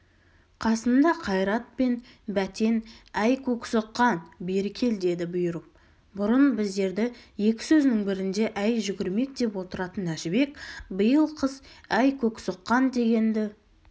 қасында қайрат пен бәтен әй көксоққан бері кел деді бұйырып бұрын біздерді екі сөзінің бірінде әй жүгірмек деп отыратын әжібек биыл қыс әй көксоққан дегенді